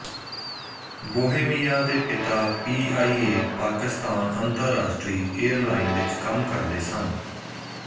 Bohemia ਦੇ ਪਿਤਾ P I A Pakistan ਅੰਤਰਰਾਸ਼ਟਰੀ ਏਅਰਲਾਈਨ ਵਿੱਚ ਕੰਮ ਕਰਦੇ ਸਨ